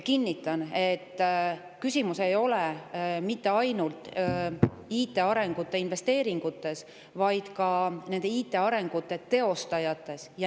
Kinnitan, et küsimus ei ole mitte ainult IT‑investeeringutes, vaid ka nende IT‑arengute teostajates.